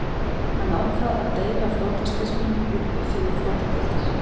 Hann ákvað að deila flotastyrknum upp í fimm flotadeildir.